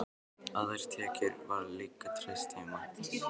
Á þær tekjur var líka treyst heima.